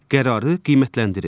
Qərarı qiymətləndirin.